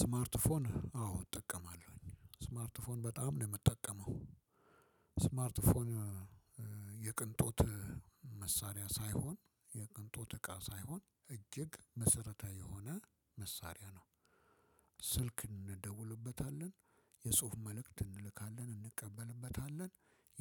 ስማርት ፎን አዎ እጠቀማለሁኝ። ስማርት ፎን በጣም ነው የምጠቀመው። ፎን የቅንጦት መሳሪያ ሳይሆን የቅንጦት እቃ ሳይሆን እጅግ መሰረታዊ የሆነ መሳሪያ ነው። ስልክ እንደውልበታለን። የጽሁፍ መልእክት እንልካለን። እንቀበልበታለን።